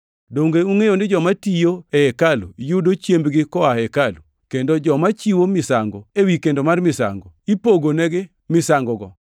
Donge ungʼeyo ni joma tiyo e hekalu yudo chiembgi koa e hekalu, kendo ni joma chiwo misango ewi kendo mar misango ipogonegi misangogo?